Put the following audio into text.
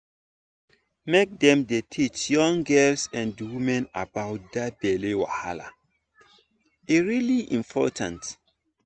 make dem dey teach young girls and women about that belly wahala e really important